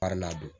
don